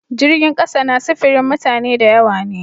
Jirgin kasa na sifirin mutane da yawa ne.